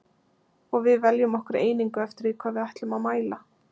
Og við veljum okkur einingu eftir því hvað við ætlum að mæla.